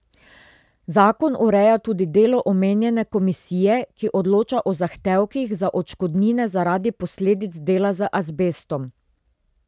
Zakon ureja tudi delo omenjene komisije, ki odloča o zahtevkih za odškodnine zaradi posledic dela z azbestom.